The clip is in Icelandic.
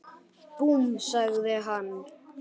Búmm! sagði hann.